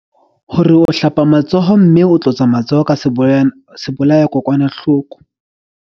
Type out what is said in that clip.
Hore o hlapa matsoho mme o tlotsa matsoho ka sebolayakokwanahloko.